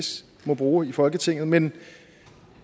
må bruge i folketinget men